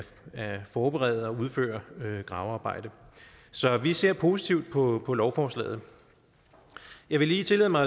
at forberede og udføre gravearbejdet så vi ser positivt på på lovforslaget jeg vil lige tillade mig